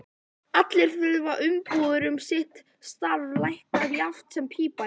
Allir þurfa umbúðir um sitt starf, læknir jafnt sem pípari.